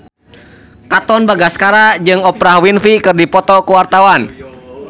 Katon Bagaskara jeung Oprah Winfrey keur dipoto ku wartawan